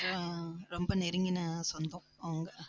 ஆஹ் ரொம்ப நெருங்கின சொந்தம் அவங்க